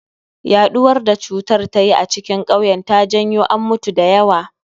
Yaɗuwar da cutar ta yi a cikin kauyen ta janyo an mutu da yawa